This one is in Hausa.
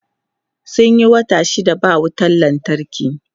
Sun yi wata shida ba wutan lantarki.